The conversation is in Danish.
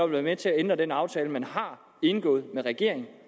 være med til at ændre den aftale man har indgået med regeringen